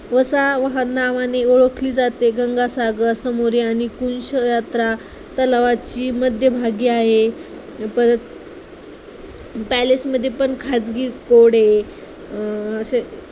वास हा नावानी ओळखली जाते. गंगासागर समोर आहे आणि तलावाची मध्यभागी आहे परत palace मध्ये पण खाजगी घोडे अं असे खू